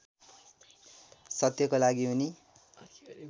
सत्यको लागि उनी